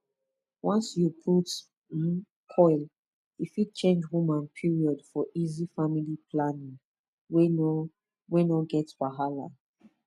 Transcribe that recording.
once you put um coil e fit change woman period for easy family planning wey no wey no get wahala